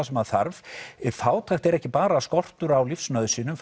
sem maður þarf fátækt er ekki bara skortur á lífsnauðsynjum